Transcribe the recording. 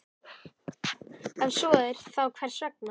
Ef svo er, þá hvers vegna?